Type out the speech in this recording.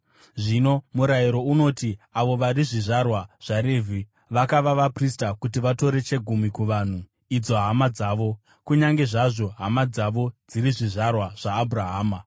Zvino murayiro unoti avo vari zvizvarwa zvaRevhi vakava vaprista kuti vatore chegumi kuvanhu, idzo hama dzavo, kunyange zvazvo hama dzavo dziri zvizvarwa zvaAbhurahama.